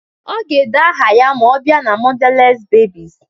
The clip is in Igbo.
Ọ ga-ede aha ya ma ọ bịa na mọdales bebis